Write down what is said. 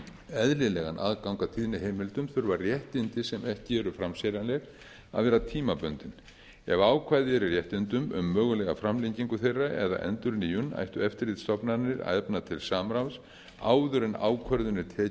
eðlilegan aðgang að tíðniheimildum þurfa réttindi sem ekki eru framseljanleg að vera tímabundin ef ákvæði eru í réttindum um mögulega framlengingu þeirra eða endurnýjun ættu eftirlitsstofnanir að efna til samráðs áður en ákvörðun er tekin